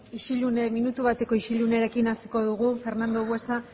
isillune minutu bateko isullunearekin asiko dugu fernando buesa